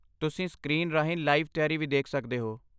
ਤੁਸੀਂ ਸਕ੍ਰੀਨ ਰਾਹੀਂ ਲਾਈਵ ਤਿਆਰੀ ਵੀ ਦੇਖ ਸਕਦੇ ਹੋ।